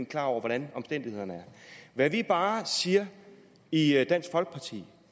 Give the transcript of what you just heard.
klar over hvordan omstændighederne er hvad vi bare siger i dansk folkeparti